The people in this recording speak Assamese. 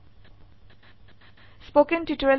ইঙ্গিত ifএলছে আইএফ স্টেটমেন্টে ব্যবহাৰ কৰক